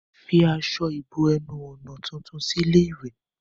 Fi aṣọ ìbo-ẹnu-ọ̀nà tuntun sí ilé-ìwẹ̀.